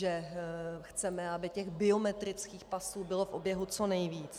Že chceme, aby těch biometrických pasů bylo v oběhu co nejvíc.